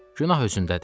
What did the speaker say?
Günah özündədir.